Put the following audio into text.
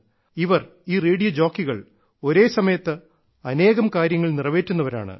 ഇവർ ഈ റേഡിയോ ജോക്കികൾ ഒരേസമയത്ത് അനേകം കാര്യങ്ങൾ നിറവേറ്റുന്നവരാണ്